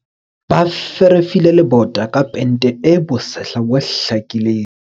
Ba ferefile lebota ka pente e bosehla bo hlakileng.